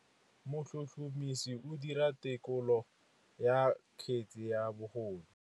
Motlhotlhomisi o dira têkolô ya kgetse ya bogodu.